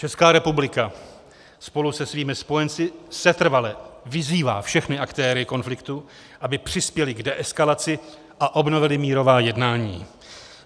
Česká republika spolu se svými spojenci setrvale vyzývá všechny aktéry konfliktu, aby přispěli k deeskalaci a obnovili mírová jednání.